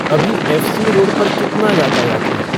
अभी F. C. Road पर कितना यातायात है